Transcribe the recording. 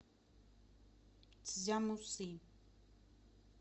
цзямусы